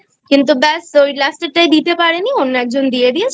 কিন্তু ব্যাস ওই Last এর টাই দিতে পারেনি অন্য একজন দিয়ে